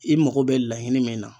I mago be laɲini min na